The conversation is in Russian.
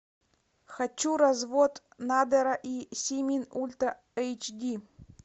хочу развод надера и симин ультра эйч ди